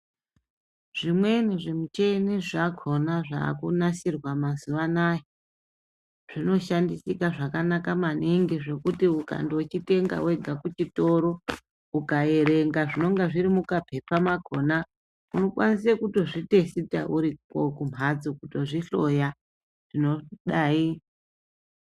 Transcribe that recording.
Zvimweni zvimicheni zvakona zvakunasirwa mazuva anaya zvinoshandisika zvakanaka maningi. Zvekuti ukandochitenga vega kuchitoro ukaerenga zvinonga zviri mukapepa makona unokwanise kutozvitesita uriko kumhatso kutozvihloya zvinodai.